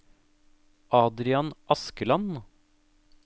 Adrian Askeland